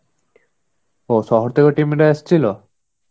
ও শহর থেকে team রা এসেছিল?